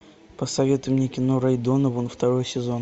посоветуй мне кино рэй донован второй сезон